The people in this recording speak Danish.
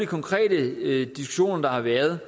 konkrete diskussioner der har været